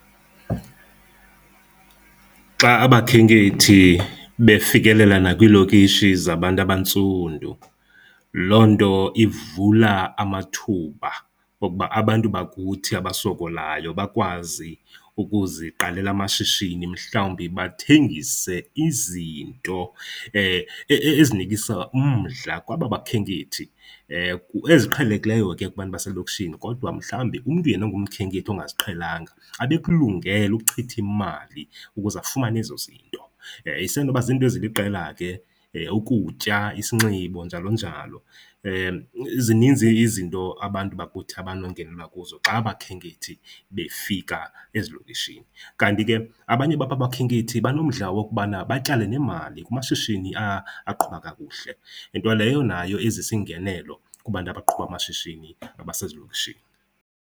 Xa abakhenkethi befikelela nakwiilokishi zabantu abantsundu, loo nto ivula amathuba okuba abantu bakuthi abasokolayo bakwazi ukuziqalela amashishini mhlawumbi bathengise izinto ezinikisa umdla kwaba bakhenkethi. Eziqhelekileyo ke kubantu baselokishini, kodwa mhlawumbi umntu yena ongumkhenkethi ongaziqhelanga abe ekulungele ukuchitha imali ukuze afumane ezo zinto. Isenoba ziinto eziliqela ke, ukutya, isinxibo njalo njalo. Zininzi izinto abantu bakuthi abanongenelwa kuzo xa abakhenkethi befika ezilokishini. Kanti ke abanye bababakhenkethi banomdla wokubana batyale neemali kumashishini aqhuba kakuhle, nto leyo nayo ezisa ingenelo kubantu abaqhuba amashishini abasezilokishini.